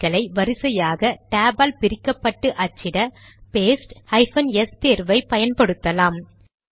எண்களை வரிசையாக டேப் ஆல் பிரிக்கப்பட்டு அச்சிட பேஸ்ட் ஹைபன் எஸ் தேர்வை பயன்படுத்தலாம்